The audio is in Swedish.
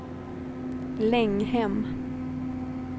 Länghem